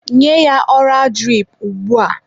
Nye ya ọra dirip ugbua!.